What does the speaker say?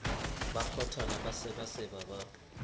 ba kgwathana ba sebaseba ba